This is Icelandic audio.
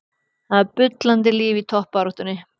Það er bullandi líf í toppbaráttunni.